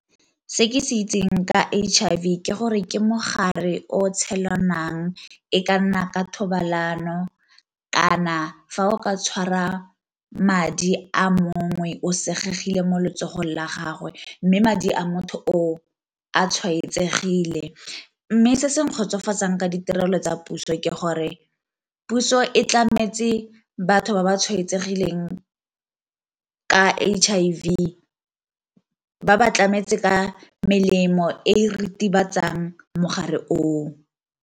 Se ke se itseng ka H_I_V ke gore ke mogare o tshelanang e ka nna ka thobalano kana fa o ka tshwara madi a mongwe o senyegile mo letsogo la gagwe, mme madi a motho o a tshwaetsegile. Mme se se nkgotsofatsa ka ditirelo tsa puso ke gore puso e tlametse batho ba ba tshwaetsegileng ka H_I_ V, ba ba tlametse ka melemo e ritibatsa jang mogare oo.